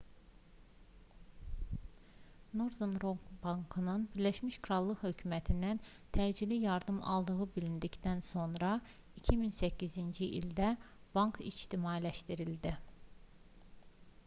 northern rock bankının birləşmiş krallıq hökumətindən təcili yardım aldığı bilindikdən sonra 2008-ci ildə bank ictimailəşdirildi